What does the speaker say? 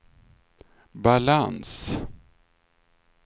balans